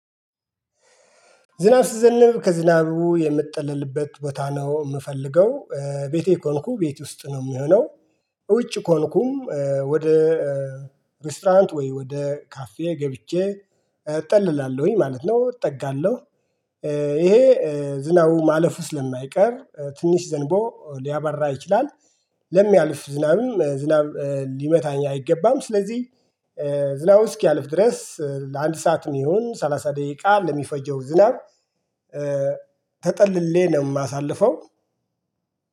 ዝናብ ስዘንብ ከዝናቡ የምጠለልበት ቦታ ነው ምፈልገው ቤቴ ከሆንኩ ቤት ውስጥ ነው ሚሆነው። ውጭ ኮንኩም ወደ ረስተራንት ወይ ወደ ካፌ ገብቼ እጠልላለሁኝ ማለት ነው። እጠጋለሁ። ይሄ ዝናቡ ማለፍ ውስጥ ስለማይቀር ትንሽ ዘንቦ ሊያባራ ይችልላል። ለሚያልፍ ዝናብም ዝናብ ሊመታኝ አይገባም። ስለዚህ ዝናቡ አዘኪያልፍ ድረስ ለአንድ ሰዓት ሚሆን ሰላሳ ደቂቃ ለሚፈጀው ዝናብ። ተጠልሌ ነው እማሳልፈው